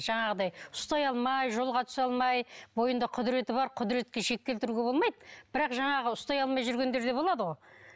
жаңағыдай ұстай алмай жолға түсе алмай бойында құдіреті бар құдіретке шек келтіруге болмайды бірақ жаңағы ұстай алмай жүргендер де болады ғой